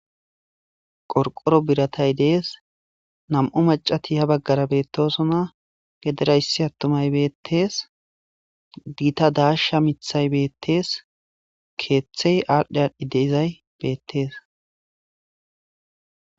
qorqoro biratay dees nam7u macati ha baggara beettosona gederayssi attumay beettees giita daasha mithay beettees keeththey aadhdhi aadhdhi deizay beettees